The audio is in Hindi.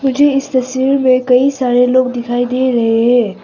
मुझे इस तस्वीर में कई सारे लोग दिखाई दे रहे हैं।